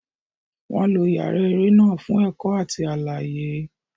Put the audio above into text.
Wọn lo yàrá eré náà fún ẹ̀kọ́ àti àlàyé.